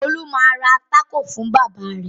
Olú yóò ra tákò fún bàbá rẹ̀!